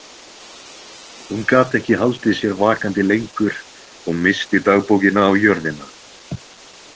Hún gat ekki haldið sér vakandi lengur og missti dagbókina á jörðina.